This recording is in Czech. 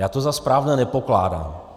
Já to za správné nepokládám.